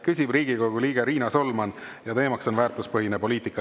Küsib Riigikogu liige Riina Solman ja teemaks on väärtuspõhine poliitika.